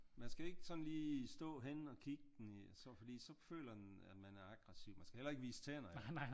Men skal ik sådan lige stå henne og kig den i fordi så føler den at man er aggressiv man skal heller ikke vise tænder